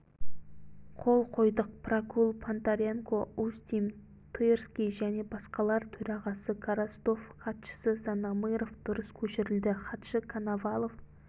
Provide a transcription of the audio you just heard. қол қойдық прокул понтаренко устим тырский және басқалар төрағасы коростов хатшысы зонамыров дұрыс көшірілді хатшы коновалов